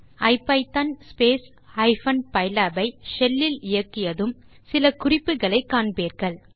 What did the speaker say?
ஐபிதான் pylab ஐ shell இல் இயக்கியதும் சில குறிப்புகளை காண்பீர்கள்